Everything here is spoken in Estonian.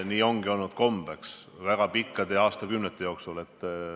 Nii on ju olnud kombeks väga pikkade aastakümnete jooksul.